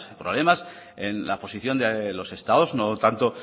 problemas en las posición de los estados no tanto